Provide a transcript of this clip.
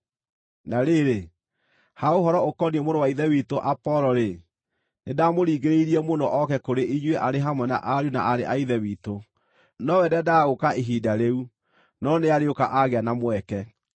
Na rĩrĩ, ha ũhoro ũkoniĩ mũrũ wa Ithe witũ Apolo-rĩ: nĩndamũringĩrĩirie mũno ooke kũrĩ inyuĩ arĩ hamwe na ariũ na aarĩ a Ithe witũ. Nowe ndeendaga gũũka ihinda rĩu, no nĩarĩũka aagĩa na mweke.